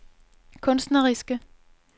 kunstneriske